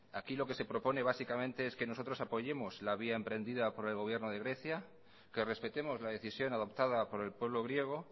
aquí lo que se propone básicamente es que nosotros apoyemos la vía emprendida por el gobierno de grecia que respetemos la decisión adoptada por el pueblo griego